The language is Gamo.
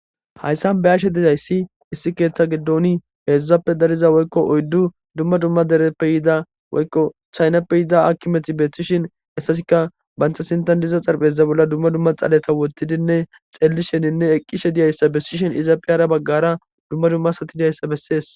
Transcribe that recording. hayssan be ashe dizayssi issi keeththa giddoni heedzdzuzappe dariza woykko oyddu dumma dumma dereppe yiida woykko chaynappe yida akkimethi beeththishin essasika bantha sintan diza xarpeza bolla dumma dumma xaleta wottidinne xellisheninne eqqishe diyayssa bessishen izaapi aara baggara dumma dummasati diyayssa bessees